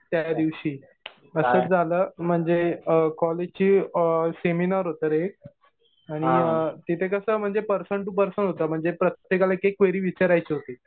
त्या दिवशी. असंच झालं. म्हणजे कॉलेजचे सेमिनार होतं एक आणि तिथे कसं म्हणजे पर्सन टु पर्सन होतं. म्हणजे प्रत्येकाला एक-एक क्वेरी विचारायची होती.